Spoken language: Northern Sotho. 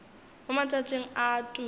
mo matšatšing a a tulo